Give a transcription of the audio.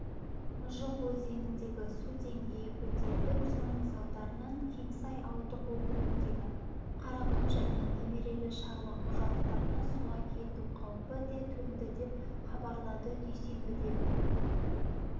мұжық өзеніндегі су деңгейі көтеріліп соның салдарынан кеңсай ауылдық округіндегі қарақұм және немерелі шаруа қожалықтарына суға кету қаупі төнді деп хабарлады дүйсенбідегі